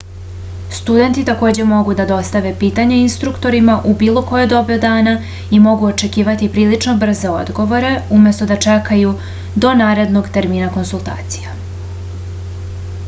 studenti takođe mogu da dostave pitanja instruktorima u bilo koje doba dana i mogu očekivati prilično brze odgovore umesto da čekaju do narednog termina konsultacija